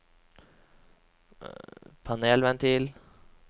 panelventil